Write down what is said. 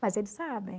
Mas eles sabem.